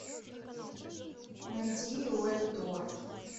найди уэнтуорт